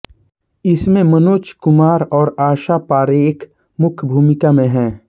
इसमे मनोज कुमार और आशा पारेख मुख्य भुमिका मे है